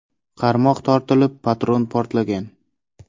Qarmoq tortilib, patron portlagan.